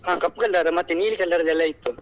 ಆಹ್ ಕಪ್ಪು colour ಮತ್ತೆ ನೀಲಿ colour ದೆಲ್ಲಾ ಇತ್ತು.